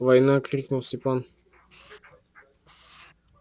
война крикнул степан